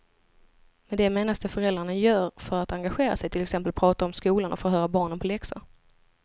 Med det menas det föräldrarna gör för att engagera sig, till exempel prata om skolan och förhöra barnen på läxor.